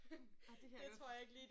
Ej det kan jeg godt forstå